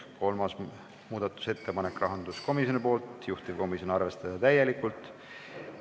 Kolmas muudatusettepanek rahanduskomisjonilt, juhtivkomisjon: arvestada täielikult.